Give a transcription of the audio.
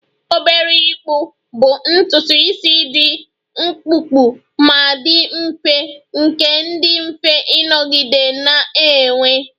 Obere ịkpụ bụ ntutu isi dị mkpụmkpụ ma dị mfe nke dị mfe ịnọgide na-enwe